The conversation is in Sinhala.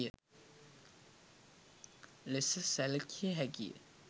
ලෙස සැලකිය හැකිය.